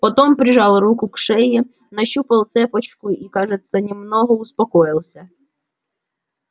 потом прижал руку к шее нащупал цепочку и кажется немного успокоился